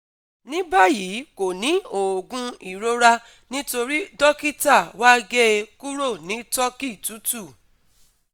Ní báyìí kò ní òògùn ìrora nítorí dókítà wa gé e kúrò ní turkey tútù